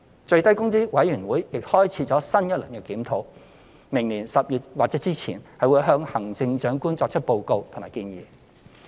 最低工資委員會亦開始新一輪檢討，並會於明年10月或之前向行政長官作出報告和建議。